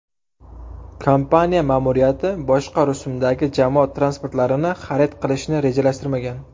Kompaniya ma’muriyati boshqa rusumdagi jamoat transportlarini xarid qilishni rejalashtirmagan.